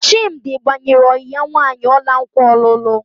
Chimdi gbanyere ọyị ya nwaanyị ọla nkwa ọlụlụ.